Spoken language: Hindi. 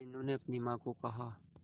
मीनू ने अपनी मां को कहा